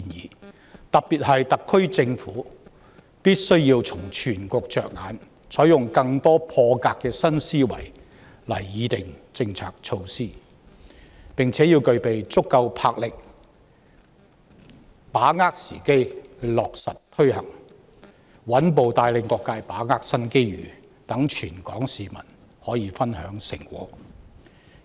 當中我特別提到特區政府必須要從全局着眼，採用更多破格的新思維來擬訂政策措施，並且要具備足夠魄力把握時機落實推行，穩步帶領各界把握新機遇，讓全港市民可以分享成果。